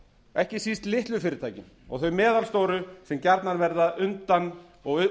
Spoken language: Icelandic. ekki síst litlu fyrirtækin og þau meðalstóru sem gjarnan verða útundan í